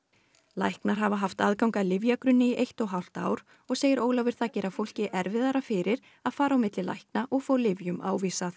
læknar hafa haft aðgang að lyfjagagnagrunni í eitt og hálft ár og segir Ólafur það gera fólki erfiðara fyrir að fara á milli lækna og fá lyfjum ávísað